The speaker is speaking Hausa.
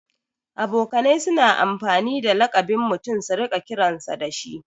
Abokanai suna amfani da laƙabin mutum su riƙa kiransa dashi